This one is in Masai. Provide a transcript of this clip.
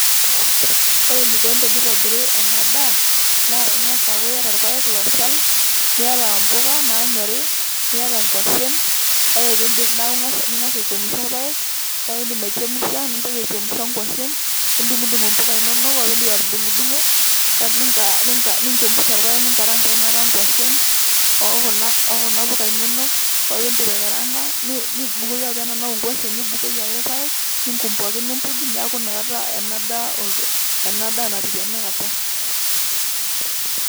Ore eneikoni teneitabiri ena daa naa ing'as aaku iyata irpaek looshal niata impula naanyori niata inkuashen ore peeindip ning'as aichemsha irpaek ore peeindip aichemsha nintoki aichemsha inkuashen nidung'udung impuka inonok ore peindip atudungo ninchemsha irpaek ninkaraanga inakata inkuashen okuna puka inonok ore peeindip aikaraanka nibukoki ore pee enanau inkuashen nibukoki ake irpaek ninkum pookin nimpurj neeku inakata ena daa ena daa natiu tenakata